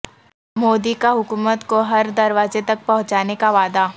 مودی کاحکومت کو ہر دروازے تک پہنچانے کا وعدہ